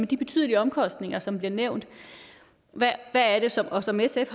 de betydelige omkostninger som bliver nævnt og som sf